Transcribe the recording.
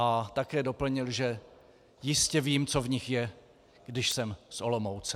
A také doplnil, že jistě vím, co v nich je, když jsem z Olomouce.